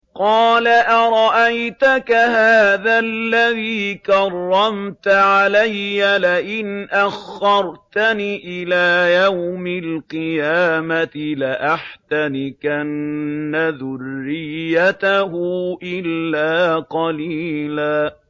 قَالَ أَرَأَيْتَكَ هَٰذَا الَّذِي كَرَّمْتَ عَلَيَّ لَئِنْ أَخَّرْتَنِ إِلَىٰ يَوْمِ الْقِيَامَةِ لَأَحْتَنِكَنَّ ذُرِّيَّتَهُ إِلَّا قَلِيلًا